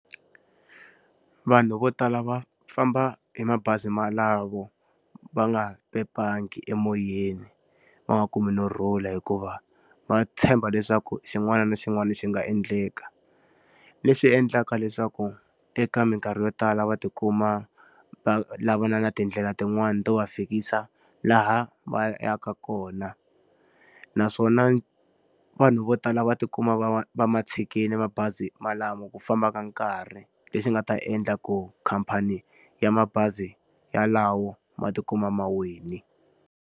Vanhu vo tala va famba hi mabazi malamo va nga emoyeni, va nga kumi no rhula hikuva va tshemba leswaku xin'wana na xin'wana xi nga endleka. Leswi endlaka leswaku eka minkarhi yo tala va ti kuma va lavana na tindlela tin'wani to va fikisa laha va yaka kona. Naswona vanhu vo tala va ti kuma va va ma tshikile mabazi malamo ku famba ka nkarhi leswi nga ta endlaku khamphani ya mabazi yalawo ma ti kuma mawile.